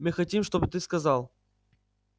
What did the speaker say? мы хотим чтобы ты сказал